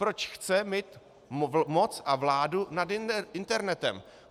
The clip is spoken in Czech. Proč chce mít moc a vládu nad internetem?